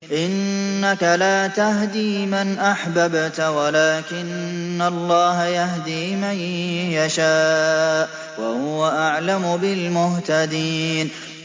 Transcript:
إِنَّكَ لَا تَهْدِي مَنْ أَحْبَبْتَ وَلَٰكِنَّ اللَّهَ يَهْدِي مَن يَشَاءُ ۚ وَهُوَ أَعْلَمُ بِالْمُهْتَدِينَ